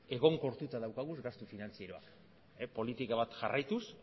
egonkortuta daukagu gastu finantzieroa politika bat jarraituz